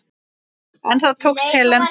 En það tókst Helen.